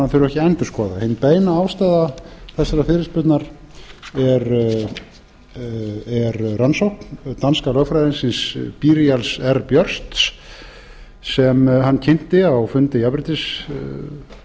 að endurskoða hin beina ástæða þessarar fyrirspurnar er rannsókn franska lögfræðingsins danska lögfræðingsins byrial r bjørsts sem hann kynnti á fundi jafnréttisráðs tuttugasta